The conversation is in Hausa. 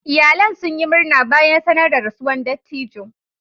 Iyalan sun yi murna bayan sanar da rasuwan dattijo.